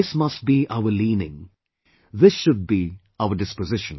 This must be our leaning; this should be our disposition